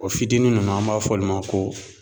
O fitinin nunnu an b'a fɔ olu ma ko